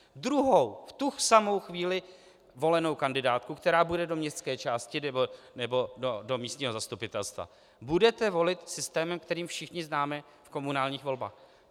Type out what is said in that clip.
Druhou, v tu samou chvíli volenou kandidátku, která bude do městské části nebo do místního zastupitelstva, budete volit systémem, který všichni známe z komunálních voleb.